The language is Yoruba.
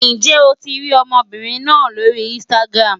Ǹjẹ́ o ti rí ọmọbìnrin náà lórí Instagram?